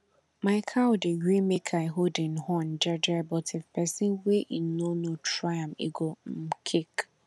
my cow dey gree make i hold em horn jeje but if pesin wey em no know try am e go um kick